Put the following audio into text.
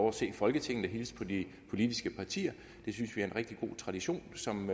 at se folketinget og hilse på de politiske partier det synes vi er en rigtig god tradition som